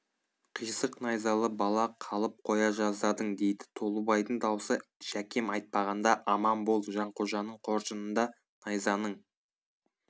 қисық найзалы бала қалып қоя жаздадың дейді толыбайдың даусы жәкем айтпағанда аман бол жанқожаның қоржынында найзаның